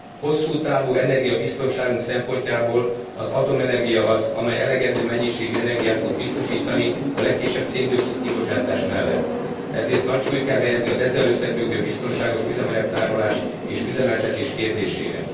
Hosszú távú energiabiztonságunk szempontjából az atomenergia az, amely elegendő mennyiségű energiát tud biztosítani a legkisebb szén dioxid kibocsátás mellett, ezért nagy súlyt kell helyezni az ezzel összefüggő biztonságos üzemanyag tárolás és üzemeltetés kérdésére.